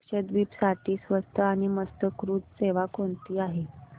लक्षद्वीप साठी स्वस्त आणि मस्त क्रुझ सेवा कोणती आहे